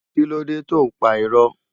Kilódé tó n pá irò?